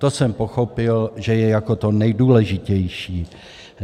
To jsem pochopil, že je jako to nejdůležitější.